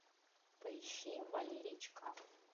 поищи валерий чкалов